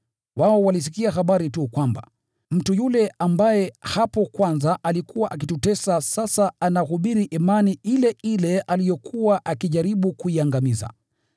Wao walisikia habari tu kwamba, “Mtu yule ambaye hapo kwanza alikuwa akitutesa sasa anahubiri imani ile ile aliyokuwa akijaribu kuiangamiza.”